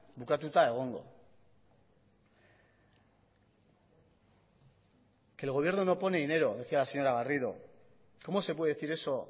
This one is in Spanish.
bukatuta egongo que el gobierno no pone dinero decía la señora garrido cómo se puede decir eso